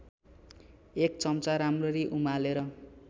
१ चम्चा राम्ररी उमालेर